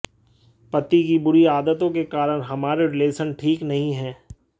पति की बुरी आदतों के कारण हमारे रिलेशन ठीक नहीं हैं